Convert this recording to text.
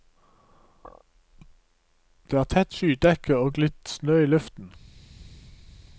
Det er tett skydekke og litt snø i luften.